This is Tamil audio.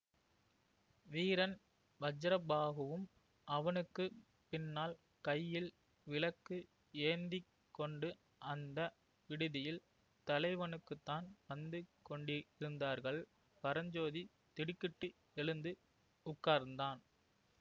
வீரன் வஜ்ரபாஹுவும் அவனுக்கு பின்னால் கையில் விளக்கு ஏந்தி கொண்டு அந்த விடுதியில் தலைவனுக்குத்தான் வந்து கொண்டிருந்தார்கள் பரஞ்சோதி திடுக்கிட்டு எழுந்து உட்கார்ந்தான்